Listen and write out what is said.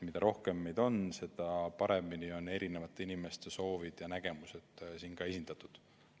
Mida rohkem meid on, seda paremini on eri inimeste soovid ja nägemused siin esindatud.